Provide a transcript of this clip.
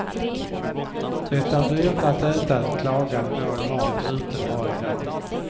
Det är dyrt att äta ett lagat mål mat ute varje dag.